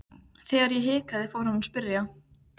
Þegar ég hikaði fór hann að spyrja.